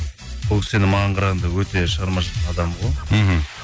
бұл кісі енді маған қарағанда өте шығармашылықтың адамы ғой мхм